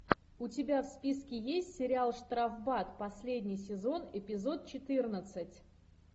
у тебя в списке есть сериал штрафбат последний сезон эпизод четырнадцать